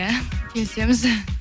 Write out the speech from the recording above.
иә келісеміз